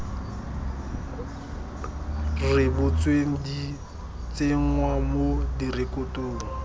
rebotsweng di tsenngwa mo direkotong